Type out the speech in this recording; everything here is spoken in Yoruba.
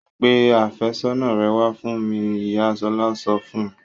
Pe àfẹ́sọ́nà rẹ wá fún mi! Ìyá Ṣọlá sọ fún un.